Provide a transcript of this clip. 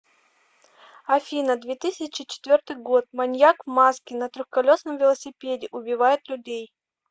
афина две тысячи четвертый год маньяк в маске на трехколесном велосипеде убивает людей